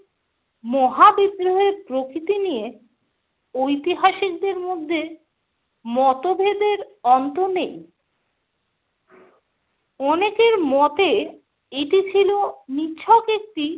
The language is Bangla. মহাবিদ্রোহের প্রকৃতি নিয়ে ঐতিহাসিকদের মধ্যে মতভেদের অন্ত নেই। অনেকের মতে এটি ছিল নিছক একটি